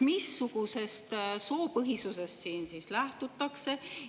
Missugusest soopõhisusest siin siis lähtutakse?